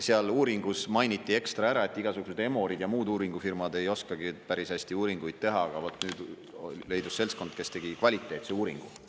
Seal uuringus mainiti ekstra ära, et igasuguseid Emorid ja muud uuringufirmad ei oskagi päris hästi uuringuid teha, aga leidus seltskond, kes tegi kvaliteetse uuringu.